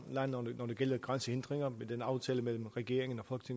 det gælder fjernelse af grænsehindringer med den aftale mellem regeringen og